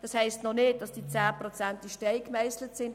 Das heisst noch nicht, dass die 10 Prozent in Stein gemeisselt sind.